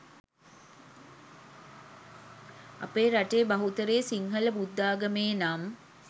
අපේ රටේ බහුතරය සිංහල බුද්ධාගමේ නම්